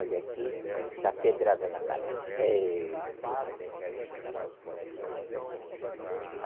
Olha aqui, dá pedrada na casa. Pêi